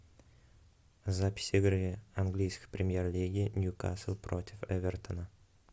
запись игры английской премьер лиги ньюкасл против эвертона